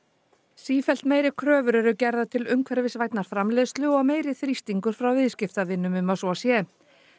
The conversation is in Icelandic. sífellt meiri kröfur eru gerðar til umhverfisvænnar framleiðslu og meiri þrýstingur frá viðskiptavinum um að svo sé